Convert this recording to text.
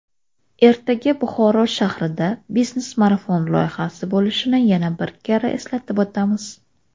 ertaga Buxoro shahrida "Biznes marafon" loyihasi bo‘lishini yana bir karra eslatib o‘tamiz.